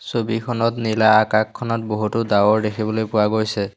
ছবিখনত নীলা আকাশখনত বহুতো ডাঁৱৰ দেখিবলৈ পোৱা গৈছে।